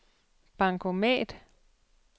bankomat